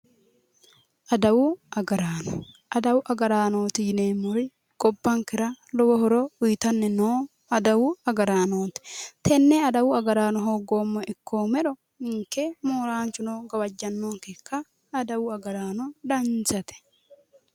Adawu agaraano. Adawu agaraanooti yineemmori gobbankera lowo horo uyitanni noo adawu agaraanooti. Tenne adawu agaraano hogoommeha ikkoommero ninke mooraanchuno gawajjannonkenka adawu agaraano danchate.